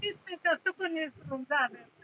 कसं